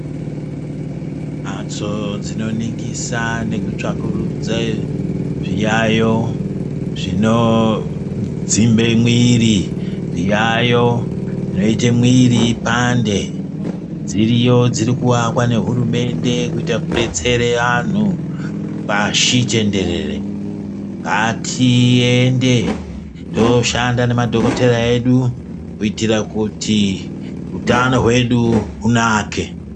Mhatso dzinoningisa nekutsvakurudze zviyaiyo zvinodzimbe mwiri zviyaiyo zvinoite mwiri ipande dziriyo dzirikuakwa nehurumende kuita kudetsera antu pashi tenderere. Ngatiende tooshanda nemadhokodheya edu kuitira kuti utano hwedu hunake.